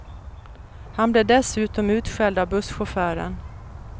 Han blev dessutom utskälld av busschauffören.